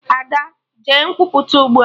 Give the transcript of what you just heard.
Ada! Jee Nkwupụta ugbua!